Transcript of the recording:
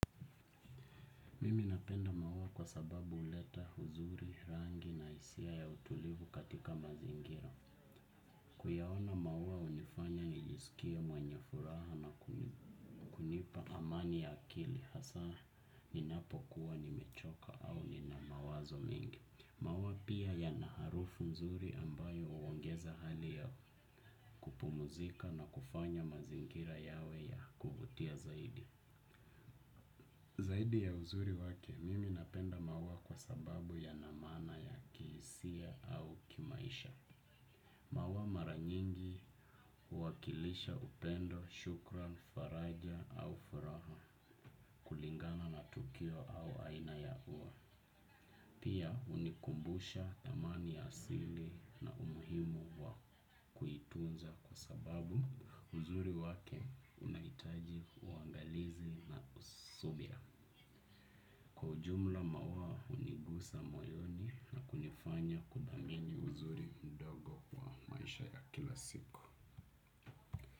Mimi napenda maua kwa sababu huleta uzuri, rangi na hisia ya utulivu katika mazingira. Kuyaona maua hunifanya nijisikie mwenye furaha na kunipa amani ya akili, hasa ninapokuwa nimechoka au nina mawazo mengi. Maua pia yana harufu nzuri ambayo huongeza hali ya kupumzika na kufanya mazingira yawe ya kuvutia zaidi. Zaidi ya uzuri wake, mimi napenda maua kwa sababu yana maana ya kihisia au kimaisha. Maua mara nyingi huwakilisha upendo, shukrani, faraja au furaha kulingana na tukio au aina ya ua. Pia hunikumbusha thamani ya asili na umuhimu wa kuitunza, kwa sababu uzuri wake unahitaji uangalizi na subira. Kwa ujumla, maua hunigusa moyoni na kunifanya nithamini uzuri mdogo wa maisha ya kila siku.